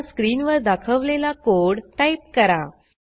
आता स्क्रीनवर दाखवलेला कोड टाईप करा